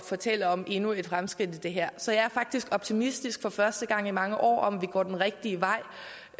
fortælle om endnu et fremskridt på det her så jeg er faktisk optimistisk for første gang i mange år at vi går den rigtige vej